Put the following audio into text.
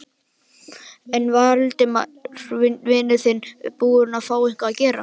Er Valdimar vinur þinn búinn að fá eitthvað að gera?